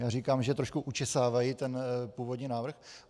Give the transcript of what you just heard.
Já říkám, že trošku učesávají ten původní návrh.